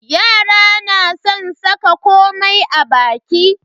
Yara na san saka komai a baki.